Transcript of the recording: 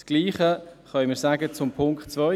Dasselbe können wir zu Punkt 2 sagen: